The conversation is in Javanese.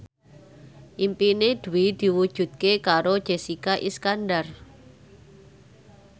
impine Dwi diwujudke karo Jessica Iskandar